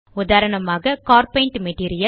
உதாரணமாக C A R paint material